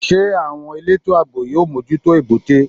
Ṣé àwọn elétò àbò yóò mójútó èbúté?